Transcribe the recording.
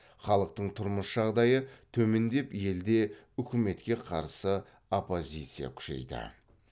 халықтың тұрмыс жағдайы төмендеп елде үкіметке қарсы оппозиция күшейді